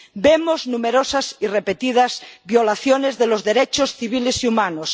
Vemos numerosas y repetidas violaciones de los derechos civiles y humanos.